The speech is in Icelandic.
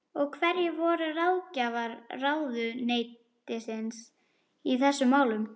Og hverjir voru ráðgjafar ráðuneytisins í þessum málum?